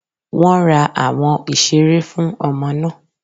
Wọ́n ra àwọn ìseré fún ọmọ náà